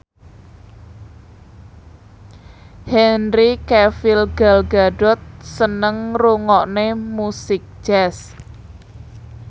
Henry Cavill Gal Gadot seneng ngrungokne musik jazz